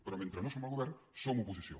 però mentre no som el govern som oposició